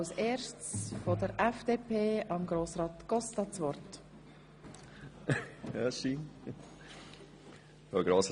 Wir kommen zu den Fraktionssprechern und -sprecherinnen.